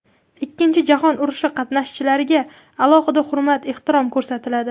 Ikkinchi jahon urushi qatnashchilariga alohida hurmat-ehtirom ko‘rsatiladi.